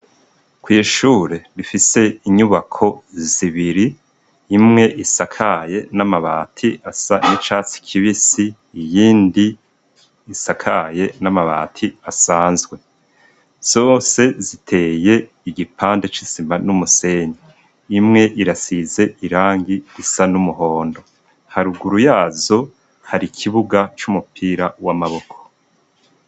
Kw'ishure rifise inyubako zibiri imwe isakaye n'amabati asa n'icatsi kibisi, iyindi isakaye n'amabati asanzwe. Zose ziteye igipande c'isima n'umusenyi. Imwe irasize irangi risa n'umuhondo. Haruguru yazo, har'ikibuga c'umupira w'amaboko.